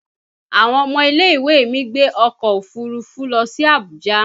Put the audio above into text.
Àwọn ọmọ ilẹ̀-ìwé mi gbé ọkọ̀ òfuurufú lọ sí Abuja